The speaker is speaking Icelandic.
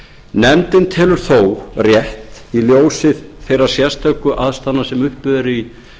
nefndin telur þó rétt í ljósi þeirra sérstöku aðstæðna sem uppi eru í